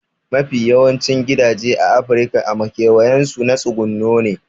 Mafi yawancin gidaje a afirika a makewayin su na tsuguno ne